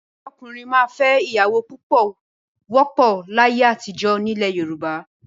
Kí ọkùnrin máa fẹ́ ìyàwó púpọ̀ wọ́pọ̀ láyé àtijọ́ nílẹ̀ Yorùbá.